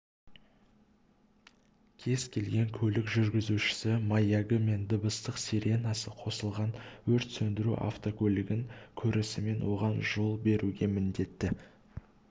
кез-келген көлік жүргізушісі маягы мен дыбыстық сиренасы қосылған өрт сөндіру автокөлігін көрісімен оған жол беруге міндетті